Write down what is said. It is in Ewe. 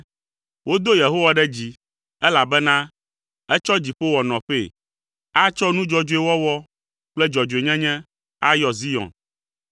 Wodo Yehowa ɖe dzi, elabena etsɔ dziƒo wɔ nɔƒee. Atsɔ nu dzɔdzɔe wɔwɔ kple dzɔdzɔenyenye ayɔ Zion.